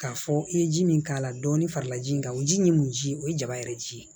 K'a fɔ i ye ji min k'a la dɔɔnin farala ji in kan o ji in ye mun ji ye o ye jaba yɛrɛ ji ye